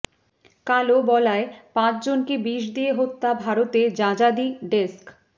কালো বলায় পাঁচ জনকে বিষ দিয়ে হত্যা ভারতে যাযাদি ডেস্ক